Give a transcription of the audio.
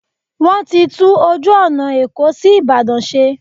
Wọ́n ti tún ojú ọ̀nà Èkó sí Ìbàdàn ṣe.